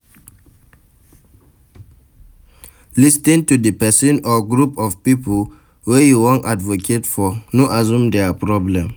Lis ten to di person or group of pipo wey you wan advocate for, no assume their problem